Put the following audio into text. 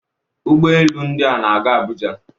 Ụgbọ elu ndị a na-aga Abuja